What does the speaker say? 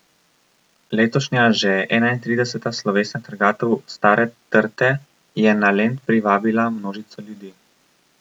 Letošnja že enaintrideseta slovesna trgatev Stare trte je na Lent privabila množico ljudi.